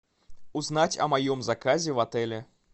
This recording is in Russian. узнать о моем заказе в отеле